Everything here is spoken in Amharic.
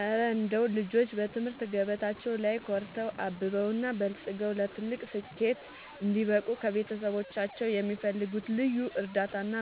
እረ እንደው ልጆች በትምህርት ገበታቸው ላይ ኮርተው፣ አብበውና በልጽገው ለትልቅ ስኬት እንዲበቁ ከቤተሰቦቻቸው የሚፈልጉት ልዩ እርዳታና